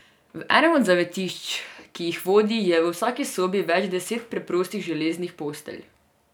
V enem od zavetišč, ki jih vodi, je v vsaki sobi več deset preprostih železnih postelj.